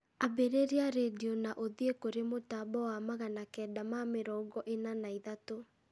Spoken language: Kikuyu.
ambĩrĩria rĩndiũ na ũthiĩ kũrĩ mũtambo wa magana kenda ma mĩrongo ĩna na ithatũ